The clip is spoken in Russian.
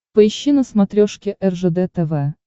поищи на смотрешке ржд тв